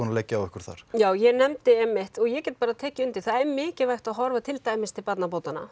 að leggja á ykkur þar já ég nefndi einmitt og ég get tekið undir það er mikilvægt að horfa til dæmis til barnabótanna